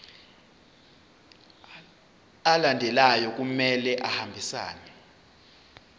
alandelayo kumele ahambisane